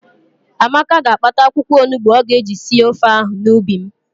Amaka ga-akpata akwụkwọonugbo ọ ga-eji sie ofe ahụ n'ubi m.